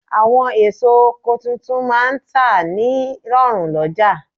Àwọn èso oko tuntun máà ń tà ní rọ̀rùn lọ́jà